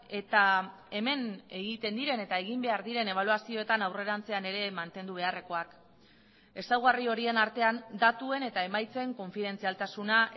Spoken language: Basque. eta hemen egiten diren eta egin behar diren ebaluazioetan aurrerantzean ere mantendu beharrekoak ezaugarri horien artean datuen eta emaitzen konfidentzialtasuna